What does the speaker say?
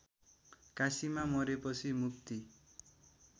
काशीमा मरेपछि मुक्ति